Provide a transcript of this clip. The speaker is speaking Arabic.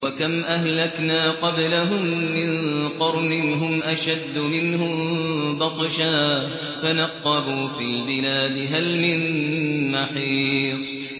وَكَمْ أَهْلَكْنَا قَبْلَهُم مِّن قَرْنٍ هُمْ أَشَدُّ مِنْهُم بَطْشًا فَنَقَّبُوا فِي الْبِلَادِ هَلْ مِن مَّحِيصٍ